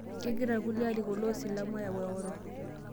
Kegira lkulie larikok loo silamu ayau eoro